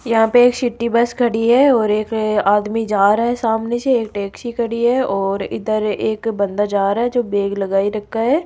यहां पे city bus खड़ी है और एक आदमी जा रहा है सामने से एक टैक्सी खड़ी है और इधर एक बंदा जा रहा है जो बैग लगाए रखा है।